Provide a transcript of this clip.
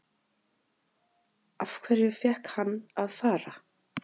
Af hverju fékk hann að fara?